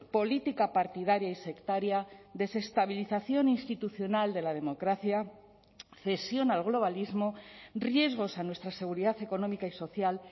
política partidaria y sectaria desestabilización institucional de la democracia cesión al globalismo riesgos a nuestra seguridad económica y social